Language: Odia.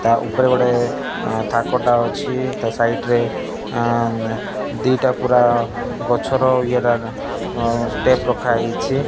ତା ଉପରେ ଗୋଟେ ଅଁ ଥାକ ଟା ଅଛି ତା ସାଇଟ୍ ରେ ଆଁ ନେ ଦି ଟା ପୂରା ଗଛର ଇଏଟା ଏଟା ଓ ଷ୍ଟେପ୍ ରଖା ହେଇଛି।